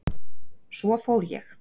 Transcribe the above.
Svo fór ég.